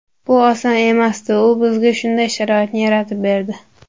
Bu oson emasdi, u bizga shunday sharoitni yaratib berdi.